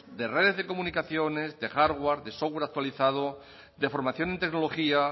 de redes de comunicaciones de hardware de software actualizado de formación en tecnología